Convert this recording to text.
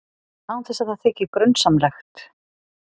Án þess að það þyki grunsamlegt.